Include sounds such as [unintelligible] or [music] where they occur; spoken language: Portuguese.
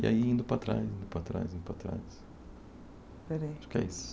E aí indo para trás, indo para trás, indo para trás. [unintelligible] que é isso